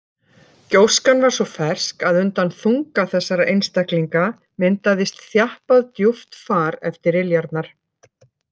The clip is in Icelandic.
Gjóskan var svo fersk að undan þunga þessara einstaklinga myndaðist þjappað djúpt far eftir iljarnar.